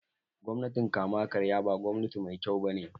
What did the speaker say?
Gwamnatin kama karya ba gwamnati mai kyau bane